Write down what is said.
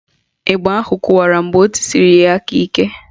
Ịgba ahụ kụwara mgbe o tisiri ya aka ike